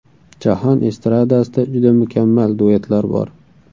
Jahon estradasida juda mukammal duetlar bor.